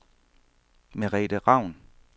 Merete Raun